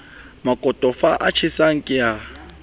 makotofa a tjhesang ke a